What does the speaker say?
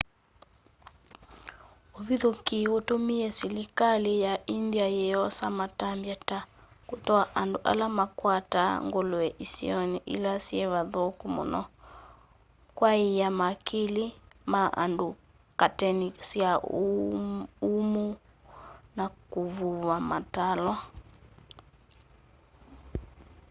uvithukîi utumie silikali ya india yiyosa matambya ta kutwaa andu ala makwataa ngulue isioni ila syivathuku muno kwaaiya makili ma andu kateni sya umuu na kuvuva matalwa